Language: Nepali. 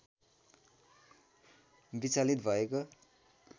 विचलित भएको